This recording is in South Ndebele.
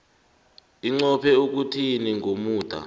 inqophe ukuthini ngomuda